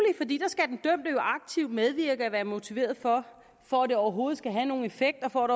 aktivt medvirke og være motiveret for for at det overhovedet skal have nogen effekt og for at